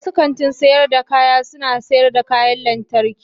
wasu kantin sayar da kaya suna sayar da kayan lantarki.